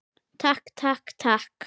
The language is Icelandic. Takk, takk, takk.